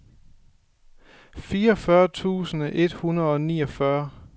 fireogfyrre tusind et hundrede og niogfyrre